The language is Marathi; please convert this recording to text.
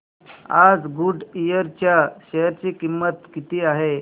आज गुडइयर च्या शेअर ची किंमत किती आहे